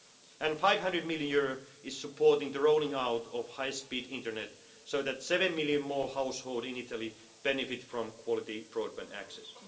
people and EUR 500 million is supporting the rolling out of high speed internet so that seven million more households in Italy benefit from quality broadband